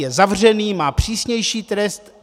Je zavřený, má přísnější trest?